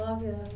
Nove anos.